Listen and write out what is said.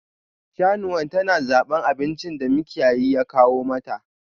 Shanuwan ta na zaban abinci da makiyayin ya kawo mata.